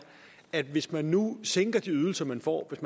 at hvis man nu sænker de ydelser nogen får hvis